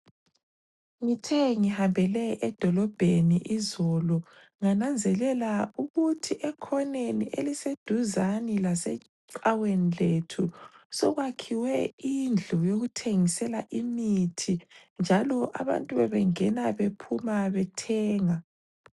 Ngithe ngihambele edolobheni izolo ngananzelela ukuthi ekhoneni eliseduzane lasecaweni lethu, sekwakhiwe indlu yokuthengisela imithi njalo abantu bebengena bephuma bethenga.